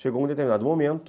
Chegou um determinado momento